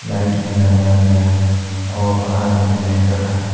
Light भी लगाया गया है और बाहर में जनरेटर है।